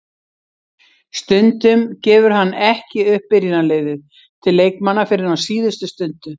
Stundum gefur hann ekki upp byrjunarliðið til leikmanna fyrr en á síðustu stundu.